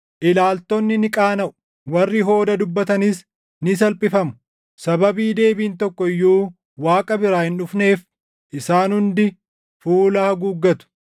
Ilaaltonni ni qaanaʼu; warri hooda dubbatanis ni salphifamu. Sababii deebiin tokko iyyuu Waaqa biraa hin dhufneef isaan hundi fuula haguuggatu.”